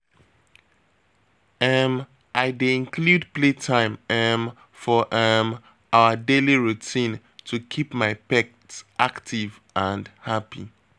um I dey include playtime um for um our daily routine to keep my pet active and happy.